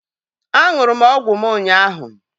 Á ṅụrụ m ọgwụ m ụnyaahụ